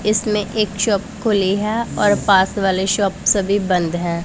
इसमें एक शॉप खुली है और पास वाले शॉप सभी बंद हैं।